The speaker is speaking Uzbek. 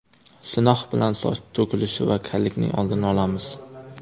Sinox bilan soch to‘kilishi va kallikning oldini olamiz.